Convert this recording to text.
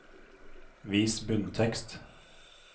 Vis bunntekst